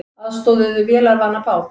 Aðstoðuðu vélarvana bát